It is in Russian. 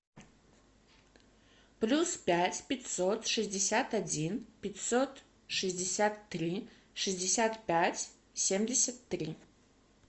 плюс пять пятьсот шестьдесят один пятьсот шестьдесят три шестьдесят пять семьдесят три